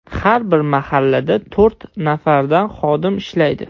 Har bir mahallada to‘rt nafardan xodim ishlaydi.